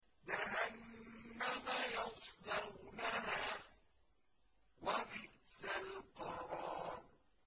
جَهَنَّمَ يَصْلَوْنَهَا ۖ وَبِئْسَ الْقَرَارُ